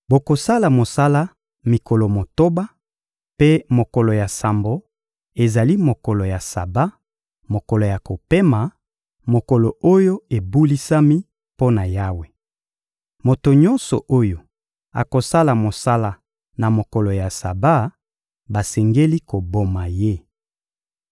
Bokosala mosala mikolo motoba, mpe mokolo ya sambo ezali mokolo ya Saba, mokolo ya kopema, mokolo oyo ebulisami mpo na Yawe. Moto nyonso oyo akosala mosala na mokolo ya Saba, basengeli koboma ye.